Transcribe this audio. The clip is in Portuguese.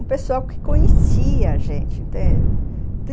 um pessoal que conhecia a gente, entende? uhum.